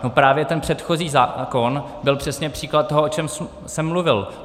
No právě ten předchozí zákon byl přesně příklad toho, o čem jsem mluvil.